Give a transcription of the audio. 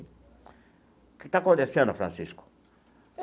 O que está acontecendo, Francisco?